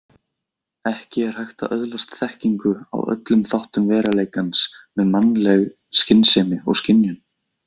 Ekki er hægt að öðlast þekkingu á öllum þáttum veruleikans með mannleg skynsemi og skynjun.